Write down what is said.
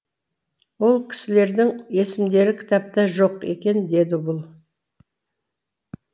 ол кісілердің есімдері кітапта жоқ екен деді бұл